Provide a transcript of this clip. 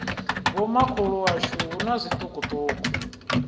vhomakhulu washu hu na zwiṱukuṱuku